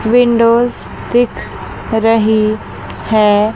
Windows दिख रही है।